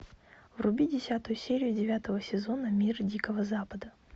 вруби десятую серию девятого сезона мир дикого запада